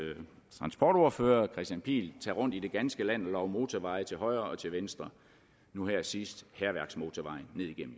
transportordfører herre kristian pihl tage rundt i det ganske land og love motorvej til højre og venstre nu her sidst hærværksmotorvejen